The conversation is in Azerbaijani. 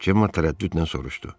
Cemar tərəddüdlə soruşdu.